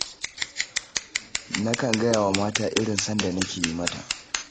Nakan gaya wa mata irin son da nake yi mata